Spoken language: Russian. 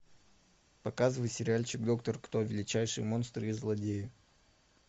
показывай сериальчик доктор кто величайшие монстры и злодеи